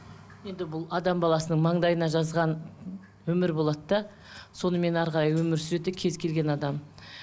енді бұл адам баласының маңдайына жазған өмірі болады да сонымен әрі қарай өмір сүреді кез келген адам